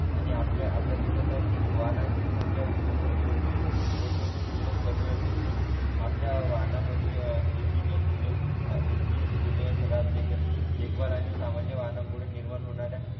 आणि आपल्या आपल्या देशात वाहनांची संख्या औद्यो औद्योगिक देशांच्या तुलनेत कमी असली तरी आपल्या वाहनमधील एंजिने जुने इंजिन जुने खराब देख देखभालाने सामान्य वाहनांमुळे निर्माण होणाऱ्या